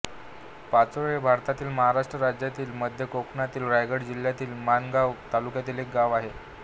पाचोळे हे भारतातील महाराष्ट्र राज्यातील मध्य कोकणातील रायगड जिल्ह्यातील माणगाव तालुक्यातील एक गाव आहे